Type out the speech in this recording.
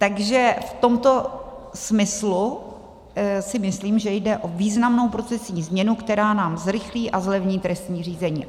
Takže v tomto smyslu si myslím, že jde o významnou procesní změnu, která nám zrychlí a zlevní trestní řízení.